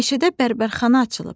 Meşədə bərbərxana açılıb.